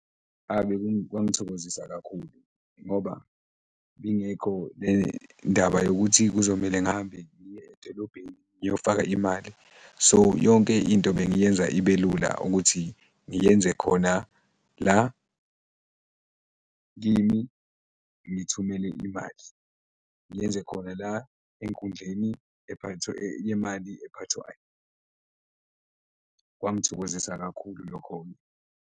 Kwangithokozisa kakhulu ngoba ibingekho le ndaba yokuthi kuzomele ngihambe ngiye edolobheni ngiyofaka imali, so yonke into bengiyenza ibe lula ukuthi ngiyenze khona la kimi ngithumele imali, ngiyenze khona la enkundleni yemali ephathwayo, kwangithokozisa kakhulu lokho-ke.